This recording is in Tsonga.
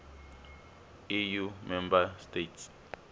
eu member states